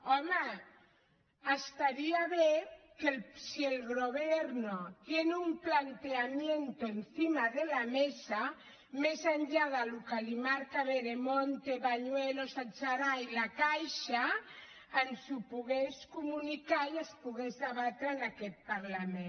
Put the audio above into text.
home estaria bé que si el gobierno tiene un planteamiento encima de la mesa més enllà del que li marca veremonte bañuelos adserà i la caixa ens ho pogués comunicar i es pogués debatre en aquest parlament